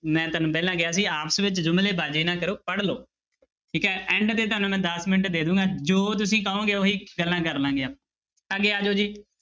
ਮੈਂ ਤੁਹਾਨੂੰ ਪਹਿਲਾਂ ਕਿਹਾ ਸੀ ਆਪਸ ਵਿੱਚ ਜੁਮਲੇਬਾਜ਼ੀ ਨਾ ਕਰੋ ਪੜ੍ਹ ਲਓ, ਠੀਕ ਹੈ end ਤੇ ਤੁਹਾਨੂੰ ਮੈਂ ਦਸ ਮਿੰਟ ਦੇ ਦੇਵਾਂਗਾ ਜੋ ਤੁਸੀਂ ਕਹੋਗੇ ਉਹੀ ਗੱਲਾਂ ਕਰ ਲਵਾਂਗੇ, ਅੱਗੇ ਆ ਜਾਓ ਜੀ।